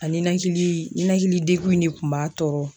A ninakili ninakilidegun de kun b'a tɔɔrɔ.